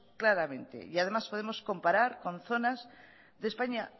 claramente y además podemos comparar con zonas de españa